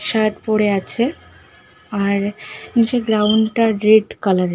Shirt পরে আছে আর নিচের গ্রাউন্ডটা রেড কালারের ।